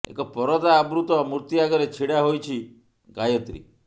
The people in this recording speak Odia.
ଏକ ପରଦା ଆବୃତ୍ତ ମୂର୍ତ୍ତି ଆଗରେ ଛିଡ଼ା ହୋଇଛି ଗାୟତ୍ରୀ